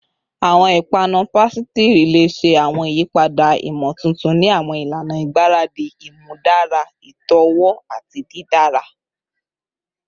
Awọn ipanu pasitiri le ṣe awọn iyipada imotuntun ni awọn ilana igbaradi, imudara itọwo ati didara